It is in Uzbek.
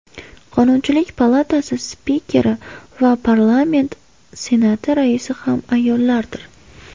Qonunchilik palatasi Spikeri va parlament Senati raisi ham ayollardir.